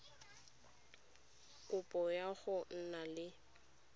kopo ya go nna le